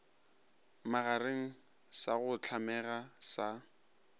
magareng sa go hlamega sa